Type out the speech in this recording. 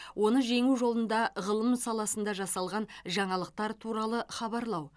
оны жеңу жолында ғылым саласында жасалған жаңалықтар туралы хабарлау